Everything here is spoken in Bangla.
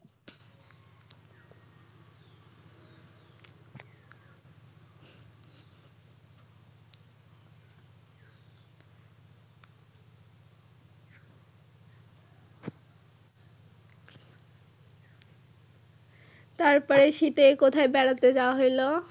তারপরে শীতে কোথায় বেড়াতে যাওয়া হইলো?